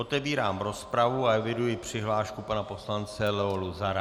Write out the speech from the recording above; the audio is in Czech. Otevírám rozpravu a eviduji přihlášku pana poslance Leo Luzara.